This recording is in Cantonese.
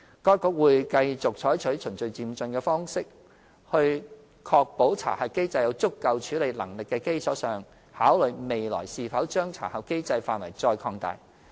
該局會繼續採取循序漸進的方式，在確保查核機制有足夠處理能力的基礎上，考慮未來是否將查核機制範圍再擴大。